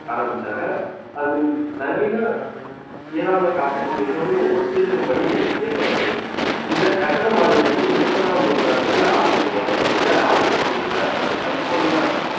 ஆரம்பிச்சாங்க அது நவீன இயலாமை காப்பீட்டு மிகவும் ஒத்திருக்கும்படி இயக்கப்பட்டது இந்த கட்டணம் மாதிரி வந்து இருபதாம் நூற்றாண்டுல ஆரம்பம் வரை இதுல ஆட்சி பகுதிகள்ல அதாவது கலிபோர்னியா